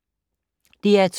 DR2